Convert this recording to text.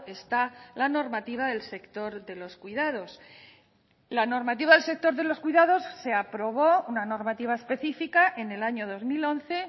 está la normativa del sector de los cuidados la normativa del sector de los cuidados se aprobó una normativa específica en el año dos mil once